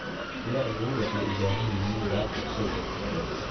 Lo'du waxay u baahan yihiin daaq cusub.